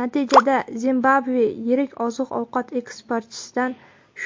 Natijada Zimbabve yirik oziq-ovqat eksportchisidan